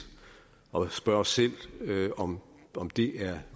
og spørger os selv om om det er